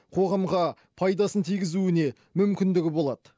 қоғамға пайдасын тигізуіне мүмкіндігі болады